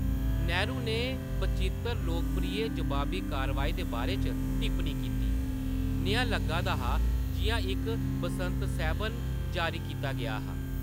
नेहरू ने बचित्तर लोकप्रिय जवाबी-कारवाई दे बारे च टिप्पनी कीती, "नेहा लग्गा दा हा जिʼयां इक बसंत सैह्‌‌‌बन जारी कीता गेआ हा।"